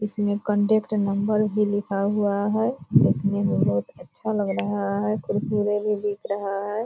इसमें contact number भी लिखा हुआ है देखने में बहोत अच्छा लग रहा है भी दिख रहा है ।